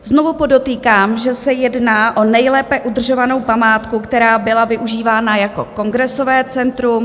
Znovu podotýkám, že se jedná o nejlépe udržovanou památku, která byla využívána jako kongresové centrum.